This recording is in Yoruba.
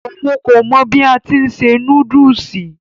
Òun kò mọ bí a ti ni se núdùùsì.